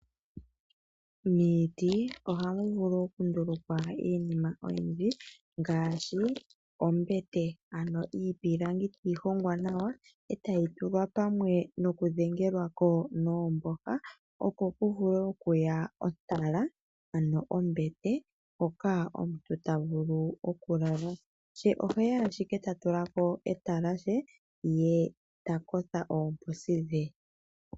Miiti ohamuvulu okundulukwa iinima oyindji ngashi Oombete ano iipilangi tayi hongwa nawa etayi tulwapamwe nokudhengelwako nomboha opo kuvule okuya ontala ano ombete hoka omuntu tavulu okukala she oheya ashike tatulako etalashe ye takotha oposidhe.